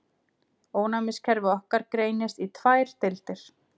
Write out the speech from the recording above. Ónæmiskerfi okkar greinist í tvær deildir.